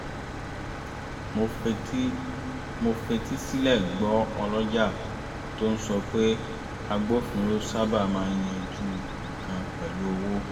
mo fetísílẹ̀ gbọ́ ọlọ́jà tó ń sọ pé agbófinró sábà máa ń yánjú nǹkan pẹ̀lú owó